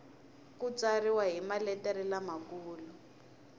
ku tsariwa hi maletere lamakulu